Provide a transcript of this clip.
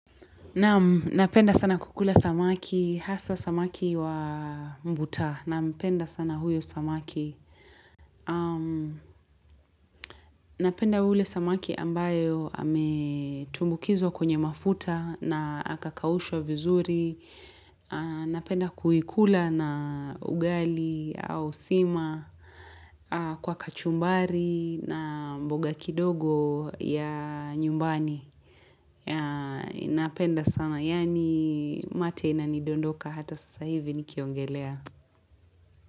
Napenda sana kukula samaki, hasa samaki wa mbuta. Napenda sana huyo samaki. Napenda ule samaki ambayo ametumbukizwa kwenye mafuta na akakaushwa vizuri. Napenda kuikula na ugali au sima kwa kachumbari na mboga kidogo ya nyumbani. Ya napenda sana yani mate inanidondoka hata sasa hivi nikiongelea.